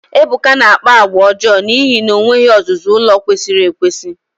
Ebuka na-akpa àgwà ọjọọ n'ihi na o nweghị ọzụzụ ụlọ kwesịrị ekwesị.